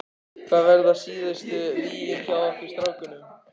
Hvar verða síðustu vígin hjá okkur strákunum?